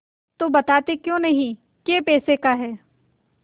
तो बताते क्यों नहीं कै पैसे का है